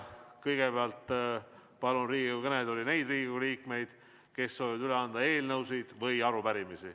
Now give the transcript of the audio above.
Kõigepealt palun Riigikogu kõnetooli neid Riigikogu liikmeid, kes soovivad üle anda eelnõusid või arupärimisi.